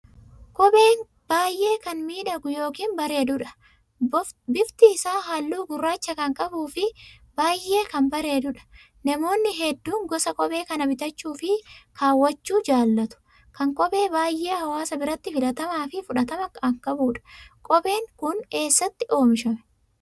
Kopheen baay'ee kan miidhaguu ykn bareedudha. bofti isaa halluu gurraacha kan qabuu fi baay'ee kan bareedudha. namoonni hedduun gosa kophee kana bitachuu fi kaawwachuu jaallatu kan kophee baay'ee hawaasa biratti filatamaa fi fudhatama kan qabuudha. Kopheen kun eessatti oomishame?